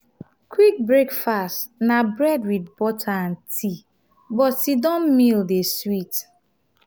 quick breakfast na bread with butter and tea but sit-down meal dey sweet